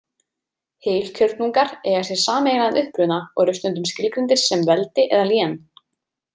Heilkjörnungar eiga sér sameiginlegan uppruna og eru stundum skilgreindir sem veldi eða lén.